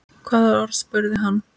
Hvaða orð? spurði hann.